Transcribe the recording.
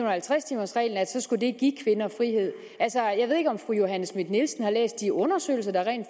og halvtreds timers reglen skulle det give kvinder frihed jeg ved ikke om fru johanne schmidt nielsen har læst de undersøgelser der rent